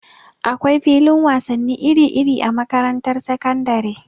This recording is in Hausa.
Akwai filin wasannin iri-iri a makarantar sakandare.